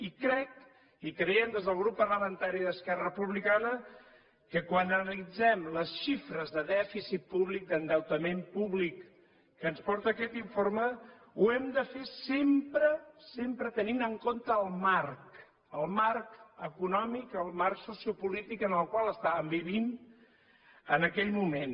i crec i creiem des del grup parlamentari d’esquerra republicana que quan analitzem les xifres de dèficit públic d’endeutament públic que ens porta aquest informe ho hem de fer sempre sempre tenint en compte el marc el marc econòmic el marc sociopolític en el qual estàvem vivint en aquell moment